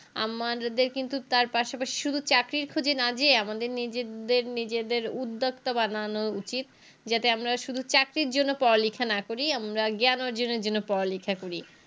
আমাদের কিন্তু তার পাশাপাশি শুধু চাকরির খোঁজে না যেয়ে আমাদের নিজেদের নিজেদের উদ্যোক্তা বানান উচিত যাতে আমরা শুধু চাকরির জন্য পড়ালেখা না করি আমরা জ্ঞান অর্জনের জন্য পড়ালেখা করি